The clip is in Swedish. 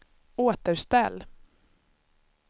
återställ